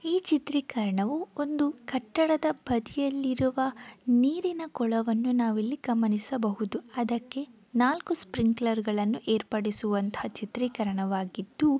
ಈ ಚಿತ್ರೀಕರಣವು ಒಂದು ಕಟ್ಟಡದ ಬದಿಯಲ್ಲಿ ಇರುವ ನೀರಿನ ಕೊಳವನ್ನು ನಾವಿಲ್ಲಿ ಗಮನಿಸಬಹುದು. ಅದಕ್ಕೆ ನಾಲ್ಕು ಸ್ಪ್ರಿಂಕ್ಲರ್ ಗಳನ್ನು ಏರ್ಪಡಿಸುವಂತ ಚಿತ್ರಿಕರಣವಾಗಿದ್ದು --